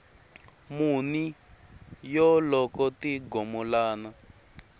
muni yo loko ti gomolana